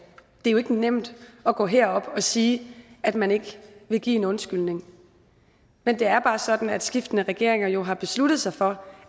er jo ikke nemt at gå herop og sige at man ikke vil give en undskyldning men det er bare sådan at skiftende regeringer jo har besluttet sig for